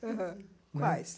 Aham, quais?